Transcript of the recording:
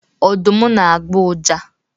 Ọdụm na agbọ uja.